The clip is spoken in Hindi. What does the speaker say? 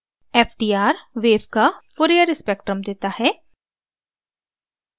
ftr wave का fourier spectrum देता है